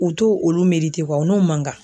U t'o olu u n'o man kan.